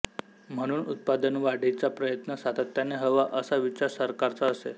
म्हणून उत्पादनवाढीचा प्रयत्न सातत्याने हवा असा विचार सरकारचा असे